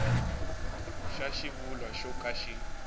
xa xivulwa xo ka xi